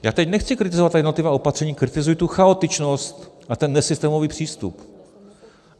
Já teď nechci kritizovat ta jednotlivá opatření, kritizuji tu chaotičnost a ten nesystémový přístup.